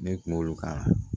Ne kuma olu kan